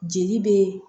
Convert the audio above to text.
Jeli be